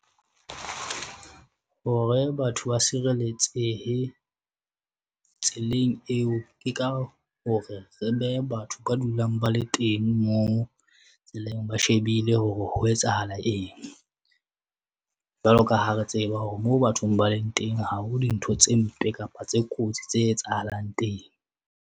Hore batho ba sireletsehe tseleng eo, ke ka hore re behe batho ba dulang ba le teng, moo ba shebile hore ho etsahala eng. Jwalo ka ha re tseba hore moo bathong ba leng teng, ha ho dintho tse mpe kapa tse kotsi tse etsahalang teng.